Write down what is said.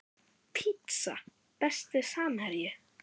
pizza Besti samherji?